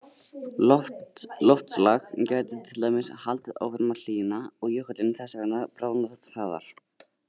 Loftslag gæti til dæmis haldið áfram að hlýna og jökullinn þess vegna bráðnað hraðar.